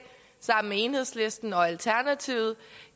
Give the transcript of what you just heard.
sammen med enhedslisten og alternativet